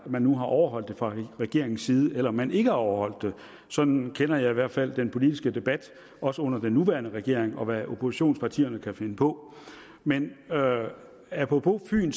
man nu har overholdt det fra regeringens side eller man ikke har overholdt det sådan kender jeg i hvert fald den politiske debat også under den nuværende regering og jeg oppositionspartierne kan finde på men apropos fyn